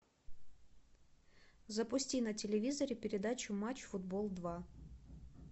запусти на телевизоре передачу матч футбол два